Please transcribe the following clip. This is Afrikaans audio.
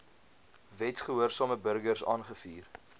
wetsgehoorsame burgers aangevuur